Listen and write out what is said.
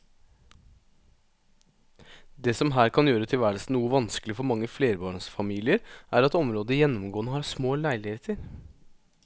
Det som her kan gjøre tilværelsen noe vanskelig for mange flerbarnsfamilier er at området gjennomgående har små leiligheter.